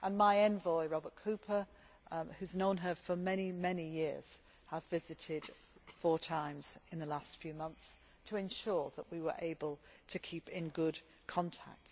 My envoy, Robert Cooper, who has known her for many, many years, has visited four times in the last few months to ensure that we have been able to remain in good contact.